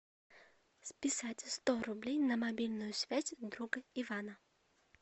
списать сто рублей на мобильную связь друга ивана